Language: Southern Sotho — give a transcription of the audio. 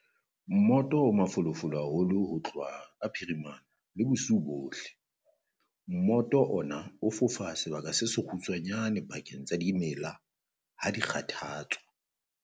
Mmoto o mafolofolo haholo ho tloha ka phirimana le bosiu bohle. Mmoto ona o fofa sebaka se sekgutshwanyane pakeng tsa dimela ha di kgathatswa.